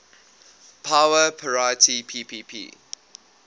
power parity ppp